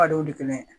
A dɔw tɛmɛna